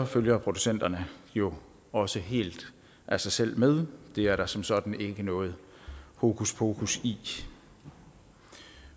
følger producenterne jo også helt af sig selv med det er der som sådan ikke noget hokuspokus i